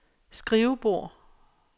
skrivebord